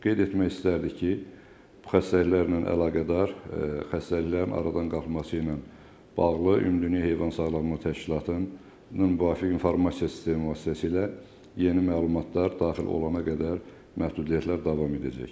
Qeyd etmək istərdik ki, bu xəstəliklərlə əlaqədar xəstəliklərin aradan qalxması ilə bağlı Ümumdünya Heyvan Sağlamlığı Təşkilatının müvafiq informasiya sistemi vasitəsilə yeni məlumatlar daxil olana qədər məhdudiyyətlər davam edəcək.